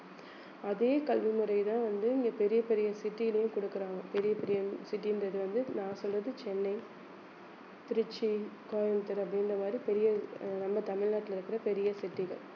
அதே கல்விமுறைதான் வந்து இங்க பெரிய பெரிய city லயும் கொடுக்குறாங்க பெரிய பெரிய city ன்றது வந்து நான் சொல்றது சென்னை திருச்சி, கோயம்புத்தூர் அப்படின்ற மாதிரி பெரிய அஹ் நம்ம தமிழ்நாட்டுல இருக்கிற பெரிய city கள்